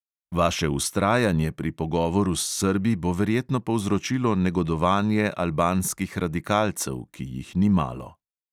Vaše vztrajanje pri pogovoru s srbi bo verjetno povzročilo negodovanje albanskih radikalcev, ki jih ni malo.